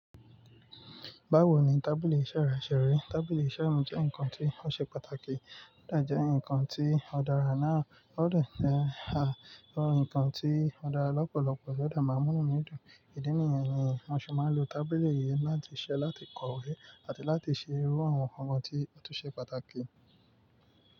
Báwo ni tábìlì iṣẹ́ rẹ ṣe rí? Tábìlì iṣẹ́ mi jẹ́ ǹkan tí ó ṣe pàtàkì, ó dẹ̀ jẹ́ ǹkan tí ó dára náà, ó dẹ̀ jẹ́ ǹkan tí ó dára lọ́pọ̀lọpọ̀, ó dẹ̀ má mú nú mi dùn. Ìdínní yẹn ni wọ́n ṣe máa ń lò tábìlì yẹn láti ṣe, láti kọ̀wé àti láti ṣe irú àwọn ǹkan tí ó tó ṣe pàtàkì.